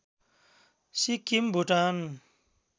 Sikkim Bhutan